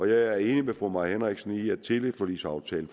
jeg er enig med fru mai henriksen i at teleforligsaftalen